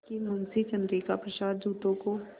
कि मुंशी चंद्रिका प्रसाद जूतों को